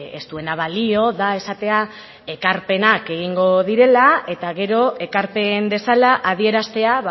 ez duena balio da esatea ekarpenak egingo direla eta gero ekarpen dezala adieraztea